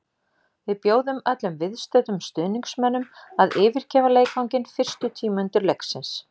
Við bjóðum öllum viðstöddum stuðningsmönnum að yfirgefa leikvanginn fyrstu tíu mínútur leiksins.